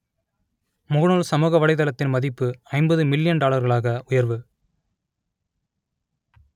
முகநூல் சமூக வலைதளத்தின் மதிப்பு ஐம்பது மில்லியன் டாலர்களாக உயர்வு